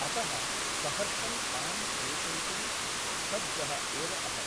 अतः सहर्षं तां प्रेषयितुं सज्जः एव अहम् ।